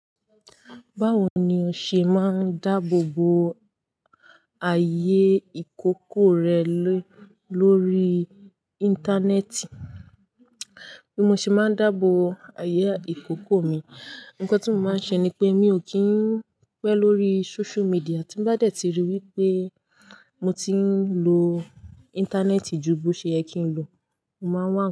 Báwo ni o ṣe máa ń dáàbò bo ààyè ìkókó rẹ lórí Íńtánẹ́ẹ̀tì? Bí mo ṣe máa ń dáàbò ààyè ìkókó mi, ǹkan tí mo máa ń ṣe ni pé mi ò kí ń pẹ́ lórí social media. Tí n bá dẹ̀ ti rí i wípé mo ti ń lo Íńtánẹ́ẹ̀tì ju bí ó ṣe yẹ kí n lo, mo máa wá.